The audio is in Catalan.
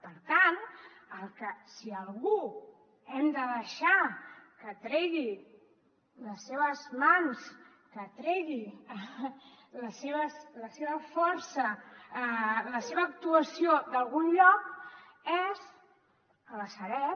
per tant si a algú hem de deixar que tregui les seves mans que tregui la seva força la seva actuació d’algun lloc és a la sareb